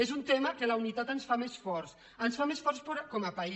és un tema en què la unitat ens fa més forts ens fa més forts com a país